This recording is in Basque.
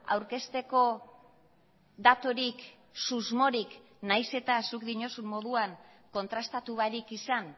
aurkezteko daturik susmorik nahiz eta zuk diozun moduan kontrastatu barik izan